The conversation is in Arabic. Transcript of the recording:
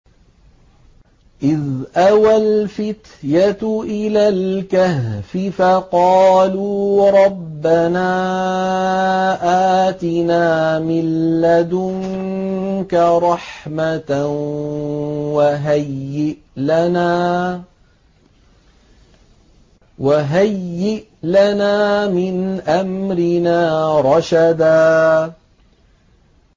إِذْ أَوَى الْفِتْيَةُ إِلَى الْكَهْفِ فَقَالُوا رَبَّنَا آتِنَا مِن لَّدُنكَ رَحْمَةً وَهَيِّئْ لَنَا مِنْ أَمْرِنَا رَشَدًا